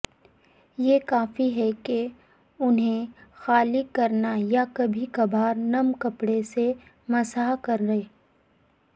یہ کافی ہے کہ انہیں خالی کرنا یا کبھی کبھار نم کپڑے سے مسح کریں